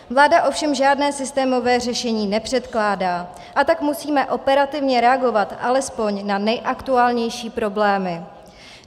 Vláda ovšem žádné systémové řešení nepředkládá, a tak musíme operativně reagovat alespoň na nejaktuálnější problémy.